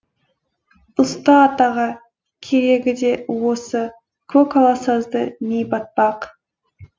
ұста атаға керегі де осы көкала сазды ми батпақ